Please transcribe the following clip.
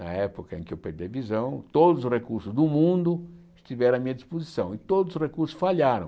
Na época em que eu perdi a visão, todos os recursos do mundo estiveram à minha disposição e todos os recursos falharam.